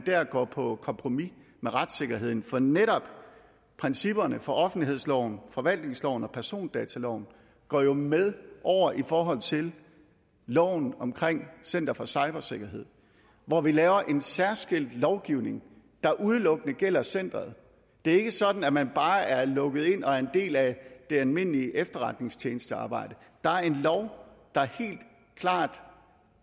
går på kompromis med retssikkerheden for netop principperne for offentlighedsloven forvaltningsloven og persondataloven går jo med over i forhold til loven om center for cybersikkerhed hvor vi laver en særskilt lovgivning der udelukkende gælder centeret det er ikke sådan at man bare er lukket ind og er en del af det almindelige efterretningstjenestearbejde der er en lov der helt klart